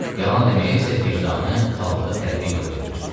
Yalan deməyə isə vicdanı aldığı tərbiyə yol vermirdi.